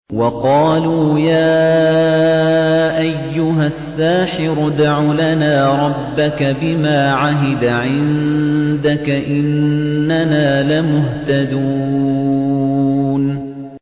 وَقَالُوا يَا أَيُّهَ السَّاحِرُ ادْعُ لَنَا رَبَّكَ بِمَا عَهِدَ عِندَكَ إِنَّنَا لَمُهْتَدُونَ